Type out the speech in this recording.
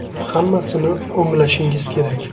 Hammasini o‘nglashingiz kerak.